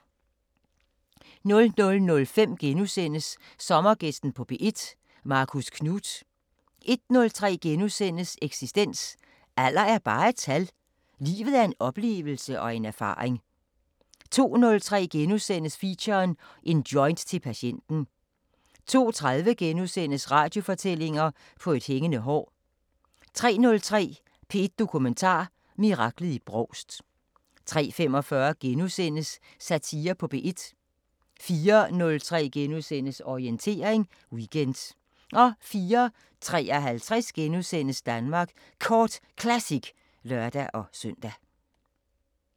00:05: Sommergæsten på P1: Marcus Knuth * 01:03: Eksistens: Alder er bare et tal – livet er en oplevelse og en erfaring * 02:03: Feature: En joint til patienten * 02:30: Radiofortællinger: På et hængende hår * 03:03: P1 Dokumentar: Miraklet i Brovst 03:45: Satire på P1 * 04:03: Orientering Weekend * 04:53: Danmark Kort Classic *(lør-søn)